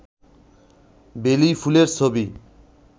বেলি ফুলের ছবি